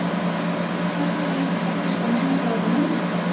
Og hvers vegna ertu þá fyrst að minnast á þetta núna?